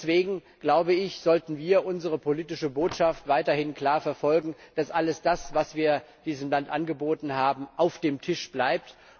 Deswegen sollten wir unsere politische Botschaft weiterhin klar verfolgen, dass alles das, was wir diesem Land angeboten haben, auf dem Tisch bleibt.